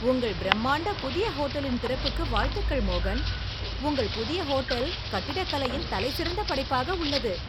உங்கள் பிரமாண்ட புதிய ஹோட்டலின் திறப்புக்கு வாழ்த்துகள், மோகன், உங்கள் புதிய ஹோட்டல் கட்டிடக்கலையின் தலைசிறந்த படைப்பாக உள்ளது.